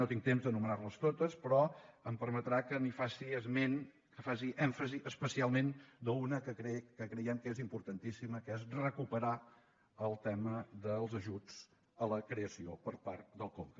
no tinc temps d’anomenar les totes però em permetrà que li’n faci esment que faci èmfasi especialment d’una que creiem que és importantíssima que és recuperar el tema dels ajuts a la creació per part del conca